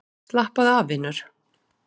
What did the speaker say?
Slappaðu af, vinur.